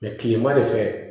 kilema de fɛ